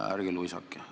Ärge luisake!